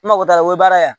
N mago t'a la o ye baara ye